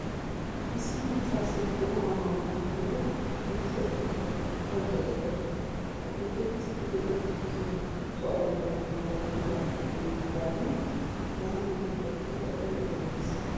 Issi maccaasiyaa wogaa maayuwaa maayada penttida tukkiyaa duuqqaydda de'awusu. Ha duuqqettiiddi de'iyaa tukkee kuttuwaa ayfiyaa malatiyoogaappe denddidaagan hagaa mala ekkada uya uya gees.